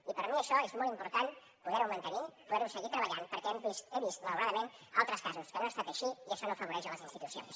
i per mi això és molt important poder ho mantenir poder ho seguir treballant perquè he vist malauradament altres casos en què no ha estat així i això no afavoreix les institucions